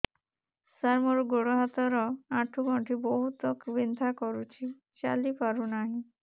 ସାର ମୋର ଗୋଡ ହାତ ର ଆଣ୍ଠୁ ଗଣ୍ଠି ବହୁତ ବିନ୍ଧା କରୁଛି ଚାଲି ପାରୁନାହିଁ